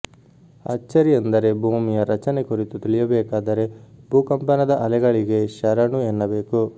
ಅಚ್ಚರಿಯೆಂದರೆ ಭೂಮಿಯ ರಚನೆ ಕುರಿತು ತಿಳಿಯಬೇಕಾದರೆ ಭೂಕಂಪನದ ಅಲೆಗಳಿಗೇ ಶರಣು ಎನ್ನಬೇಕು